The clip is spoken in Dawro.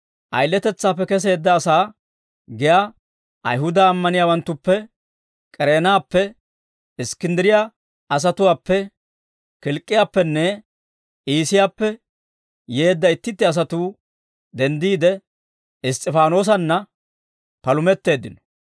Ayiletetsaappe keseedda asaa giyaa Ayihuda ammaniyaawanttuppe, K'ereenappe, Iskkinddiriyaa asatuwaappe, Kilk'k'iyaappenne Iisiyaappe yeedda itti itti asatuu denddiide, Iss's'ifaanoosanna palumetteeddino.